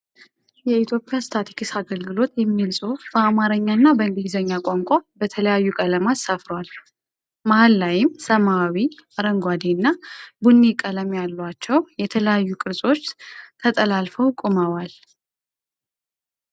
"የኢትዮጵያ ስታትስቲክስ አገልግሎት" የሚል ጽሁፍ በአማረኛ እና በእንግሊዘኛ ቋንቋ በተለያዩ ቀለማት ሰፍሯል። መሃል ላይም ሰማያዊ፣ አረንጓዴ እና ቡኒ ቀለም ያሏቸው የተለያዩ ቅርጾች ተጠላልፈው ቆመዋል።